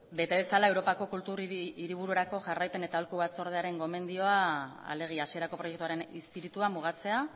bete dezala europako kultur hiribururako jarraipen eta aholku batzordearen gomendioa alegia hasierako proiektuaren izpiritua mugatzea